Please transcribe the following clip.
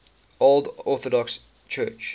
old orthodox church